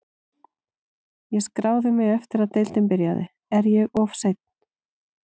Ég skráði mig eftir að deildin byrjaði, er ég of seinn?